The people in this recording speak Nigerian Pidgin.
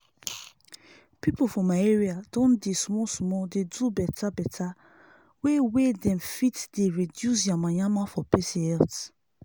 people for my area don dey small small dey do beta beta way wey dem fit dey reduce yamayama for pesin health